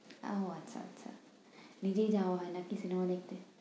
আমার যাও যাওয়া, নিজেই যাওয়া হয়না ঠিক মুহূর্তে।